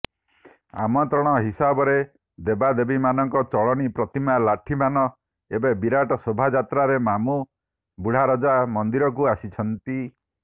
ଆମନ୍ତ୍ରଣ ହିସାବରେ ଦେବାଦେବୀମାନଙ୍କ ଚଳନ୍ତି ପ୍ରତିମା ଲାଠିମାନ ଏକ ବିରାଟ ଶୋଭା ଯାତ୍ରାରେ ମାମୁଁ ବୁଢାରଜା ମନ୍ଦିରକୁ ଆସିଥାନ୍ତି